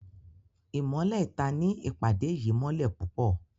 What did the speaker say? Imọlẹ ìta ní ìpàdé yìí mọlẹ pupọ